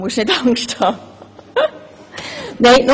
Vanoni muss keine Angst haben.